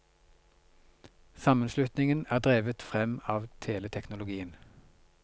Sammenslutningen er drevet frem av teleteknologien.